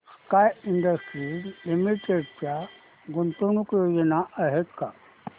sky Industries Limited च्या गुंतवणूक योजना आहेत का